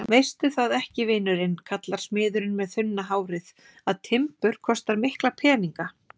Veistu það ekki, vinurinn kallar smiðurinn með þunna hárið, að timbur kostar mikla peninga?